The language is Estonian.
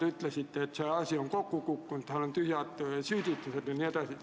Te ütlesite, et see asi on kokku kukkunud, on tühjad süüdistused jne.